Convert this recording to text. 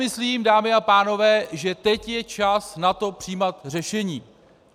Myslím, dámy a pánové, že teď je čas na to přijímat řešení.